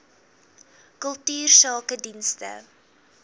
kultuursakedienste